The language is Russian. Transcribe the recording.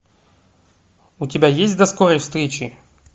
у тебя есть до скорой встречи